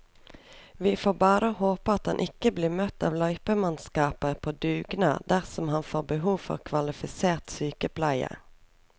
Vi får bare håpe at han ikke blir møtt av løypemannskaper på dugnad dersom han får behov for kvalifisert sykepleie.